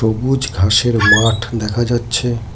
সবুজ ঘাসের মাঠ দেখা যাচ্ছে।